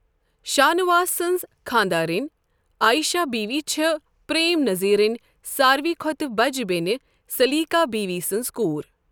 شانواس سٕنٛز خانٛدارِنۍ عائشہ بیوی چھےٚ پریم نذیرٕنۍ ساروٕے کھۄتہٕ بَجہِ بیٚنہِ سلیقہ بیوی سٕنٛز کوٗر۔